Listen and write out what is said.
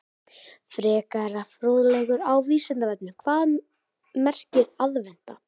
Frekari fróðleikur á Vísindavefnum: Hvað merkir aðventa?